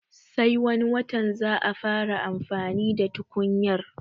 Sai wani watan za a fara amfani da tukunyar